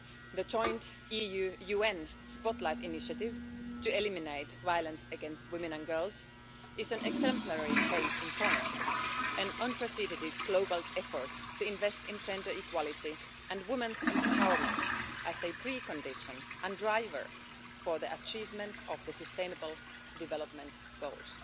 The Joint EU UN spotlight initiative to eliminate violence against women and girls is an exemplary case in point, an unprecedented global effort to invest in gender equality and women's empowerment as a precondition and driver for the achievement of the sustainable development goals.